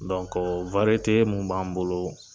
Donko wariyete mun b'an bolo